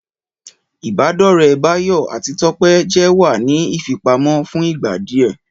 Ìbádọ́ọ̀rẹ́ Báyọ̀ àti Tọ́pẹ́ jẹ́ wà ní ìfipamọ́ fún ìgbà díẹ̀